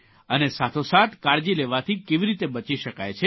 અને સાથોસાથ કાળજી લેવાથી કેવી રીતે બચી શકાય છે